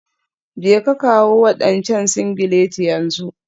Jeka kawo wadancan singileti yanzu.